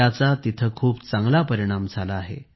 त्याचा तेथे खूप चांगला परिणाम झाला आहे